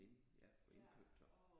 Ind ja for indkøb der